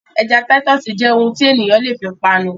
Ẹja Titus jẹ́ ohun tí ènìyàn lè fi panu